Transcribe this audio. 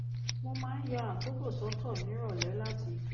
mo máa ń ya àkókò sọ́tọ̀ nírọ̀lẹ́ láti